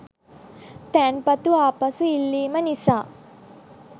තැන්පතු ආපසු ඉල්ලීම නිසා